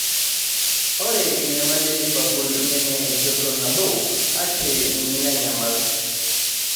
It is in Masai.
Ore enyamali e lifapul neme enjoto nabo ake nanyamal